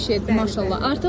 677, maşallah.